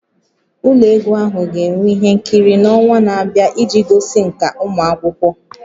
Ụlọ egwu ahụ ga-enwe ihe nkiri n'ọnwa na-abịa iji gosi nkà ụmụ akwụkwọ